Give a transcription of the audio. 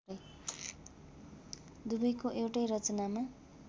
दुवैको एउटै रचनामा